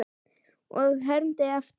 Og ég hermdi eftir.